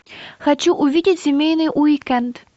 хочу увидеть семейный уикенд